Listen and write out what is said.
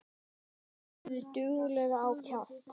Gefðu duglega á kjaft.